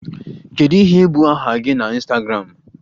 Kedu ihe bụ aha gị na Ịnstagramụ?